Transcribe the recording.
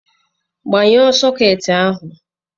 Gbnyuo sọkeeti ahụ!